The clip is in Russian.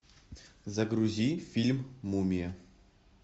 загрузи фильм мумия